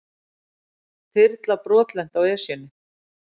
Þyrla brotlenti í Esjunni